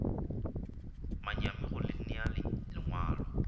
manyami go le nea lengwalo